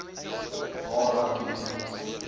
waar rugby netbal